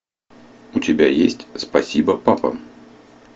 у тебя есть спасибо папа